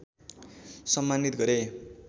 सम्मानित गरे